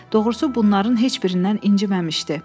Doğrusu, bunların heç birindən inciməmişdi.